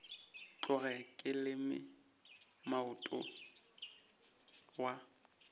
tloge ke leme moota wa